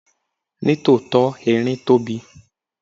Ní tòótọ́, erin tóbi.